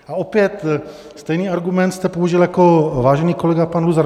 A opět stejný argument jste použil jako vážený kolega pan Luzar.